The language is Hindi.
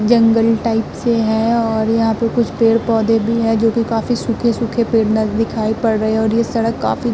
जंगल टाइप से है और यहां पे कुछ पेड़-पौधें भी है जोकि काफी सूखे-सूखे पेड़ नज दिखाई पड़ रहे हैं और ये सड़क काफी --